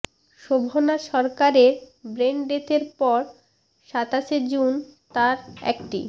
শোভনা সরকারের ব্রেন ডেথের পর সাতাশে জুন তাঁর একটি